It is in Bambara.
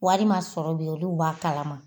Wari sɔrɔ olu b'a kalama.